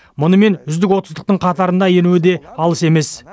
мұнымен үздік отыздықтың қатарына енуі де алыс емес